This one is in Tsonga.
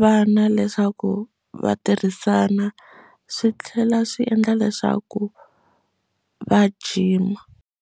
vana leswaku va tirhisana swi tlhela swi endla leswaku va gym.